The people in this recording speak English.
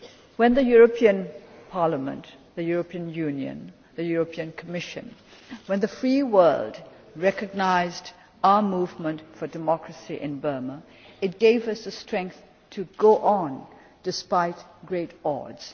When the European Parliament, the European Union, the European Commission, the free world recognised our Movement for Democracy in Burma, it gave us the strength to go on, despite great odds.